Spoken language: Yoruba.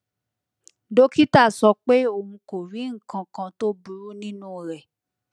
dókítà sọ pé òun kò rí nǹkan kan tó burú nínú rẹ